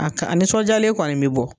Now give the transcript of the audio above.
A ka a nisɔndiyalen kɔni bɛ bɔ